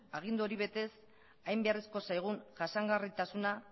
agindu hori betez hain beharrezko zaigun jasangarritasuna